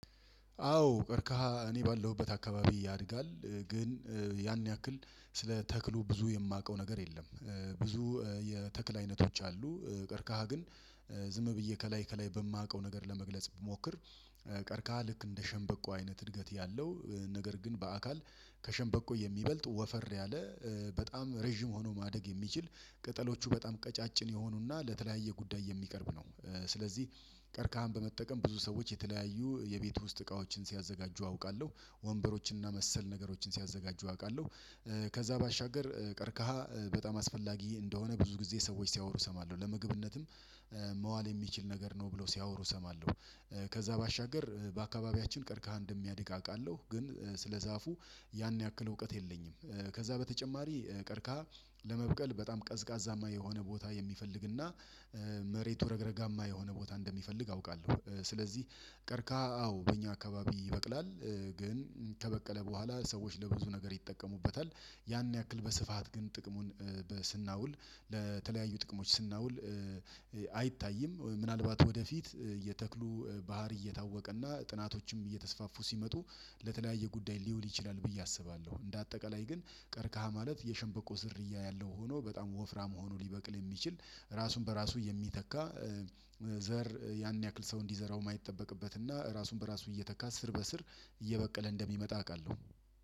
አዎ ቀርከሃ እኔ ባለሁበት አካባቢ ያድጋል ግን ያን ያክል ስለ ተክሉ ብዙ የማውቀው ነገር የለም። ብዙ የተክል አይነቶች አሉ። ቀርከሃ ግን ዝም ብዬ ከላይ ከላይ በማውቀው ነገር ለመግለጽ ብሞክር። ቀርከሃ ልክ እንደ ሸምበቆ አይነት እድገት ያለው ነገር ግን በአካል ከሸምበቆ የሚበልጥ ወፈር ያለ በጣም ረዥም ሆኖ ማደግ የሚችል ቅጠሎቹ በጣም ቀጫጭን የሆኑና ለተለያየ ጉዳይ የሚቀርብ ነው። ስለዚህ ቀርካሃን በመጠቀም ብዙ ሰዎች የተለያዩ የቤት ውስጥ እቃዎችን ሲያዘጋጁ አውቃለሁ ወንበሮችንና መሰል ነገሮችን ሲያዘጋጁ አውቃለሁ። ከዛ ባሻገር ቀርካሃ በጣም አስፈላጊ እንደሆነ ብዙ ጊዜ ሰዎች ሲያወሩ እሰማለሁ ለምግብነትም መዋል የሚችል ነገር ነው ብለው ሲያወሩ እሰማለሁ። ከዛ ባሻገር በአካባቢያችን ቀርከሃ እንደሚያድግ አውቃለሁ ግን ስለዛፉ ያን ያክል እውቀት የለኝም። ከዛ በተጨማሪ ቀርከሃ ለመብቀል በጣም ቀዝቃዛማ የሆነ ቦታ የሚፈልግና መሬቱ ረግረጋማ የሆነ ቦታ እንደሚፈልግ አውቃለሁ። ስለዚህ ቀርከሃ አዎ በእኛ አካባቢ ይበቅላል ግን ከበቀለ በኋላ ሰዎች ለብዙ ነገር ይጠቀሙበታል ያን ያክል በስፋት ግን ጥቅሙን በስናውል ለተለያዩ ጥቅሞች ስናውል። አይታይም። ምናልባት ወደፊት የተክሉ ባህሪ እየታወቀና ጥናቶችም እየተስፋፉ ሲመጡ ለተለያየ ጉዳይ ሊውል ይችላል ብዬ አስባለሁ። እንደ አጠቃላይ ግን ቀርካሃ ማለት የሸንበቆ ዝርያ ያለው ሆኖ በጣም ወፍራም ሆኖ ሊበቅል የሚችል ራሱን በራሱ የሚተካ ዘር ያን ያክል ሰው እንዲዘራው የማይጠበቅበት እና ራሱን በራሱ እየተካ ስር በስር እየበቀለ እንደሚመጣ አውቃለሁ።